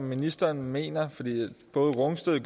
ministeren mener for både rungsted